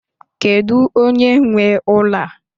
Kedu onye nwe ụlọ a?